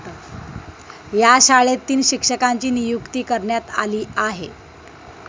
या शाळेत तीन शिक्षकांची नियुक्ती करण्यात आली आहे.